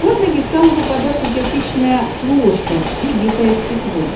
под ноги стало попадаться кирпичная крошка и битое стекло